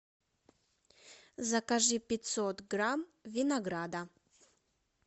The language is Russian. закажи пятьсот грамм винограда